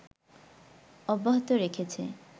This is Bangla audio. অব্যাহত রেখেছে